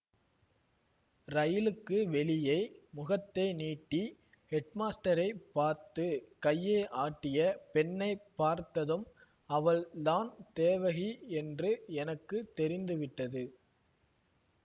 ரயிலுக்கு வெளியே முகத்தை நீட்டி ஹெட்மாஸ்டரைப் பார்த்து கையை ஆட்டிய பெண்ணை பார்த்ததும் அவள் தான் தேவகி என்று எனக்கு தெரிந்து விட்டது